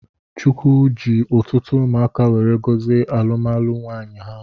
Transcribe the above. Chukwu ji ọtụtụ umụaka weree gozie alụmalụ nwanyi ahụ.